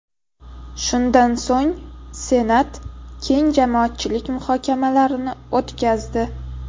Shundan so‘ng Senat keng jamoatchilik muhokamalarini o‘tkazdi.